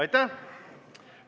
Aitäh!